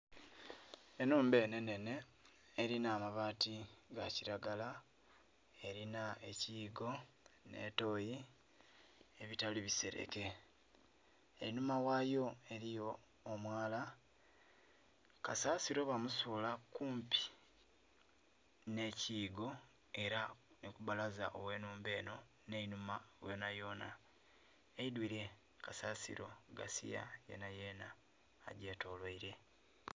Enhumba eno enhenhe erina amabaati ga kiragala erina ekiyigo nh'etoyi ebitali bisereke. Enhuma ghayo eriyo omwala kasasilo bamusuula kumpi nh'ekiyigo era nhikubalaza oghe enhumba eno nh'enhuma yonayona. Eidwire kasasiro gasiya yenayena agyetoloire